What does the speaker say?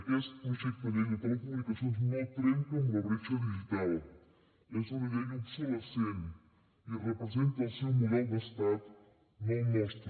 aquest projecte de llei de telecomunicacions no trenca amb la bretxa digital és una llei obsolescent i representa el seu model d’estat no el nostre